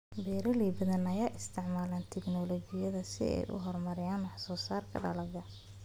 Beeraley badan ayaa isticmaalaya tignoolajiyada si ay u horumariyaan wax soo saarka dalagga.